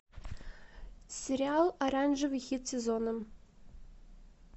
сериал оранжевый хит сезона